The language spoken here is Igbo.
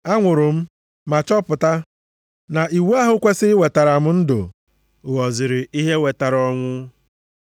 Anwụrụ m, ma chọpụta na iwu ahụ kwesiri iwetara m ndụ ghọziri ihe wetara ọnwụ.